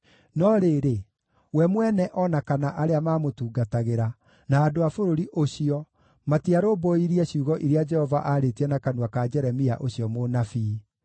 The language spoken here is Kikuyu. No rĩrĩ, we mwene o na kana arĩa maamũtungatagĩra, na andũ a bũrũri ũcio matiarũmbũirie ciugo iria Jehova aarĩtie na kanua ka Jeremia ũcio mũnabii.